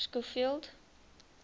schofield